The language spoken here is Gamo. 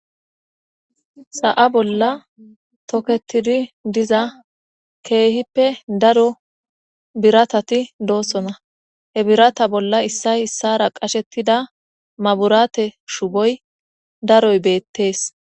Sa'a bolla tokettidi diiza kehippe daaro birattati dossona he birata bolla issay issara qashetida mabburatte shubboy daaroy bettes